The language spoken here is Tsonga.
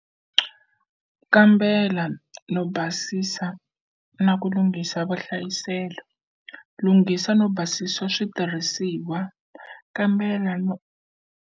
Kambela no basisa na ku lunghisa vuhlayiselo, lunghisa no basisa switirhisiwa, kambela .